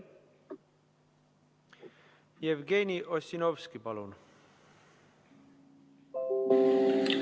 Jevgeni Ossinovski, palun!